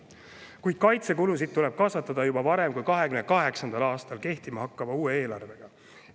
Kuid kaitsekulusid tuleb kasvatada juba varem kui 2028. aastal kehtima hakkava uue eelarvega.